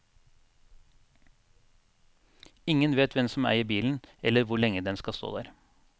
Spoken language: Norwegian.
Ingen vet hvem som eier bilen, eller hvor lenge den skal stå der.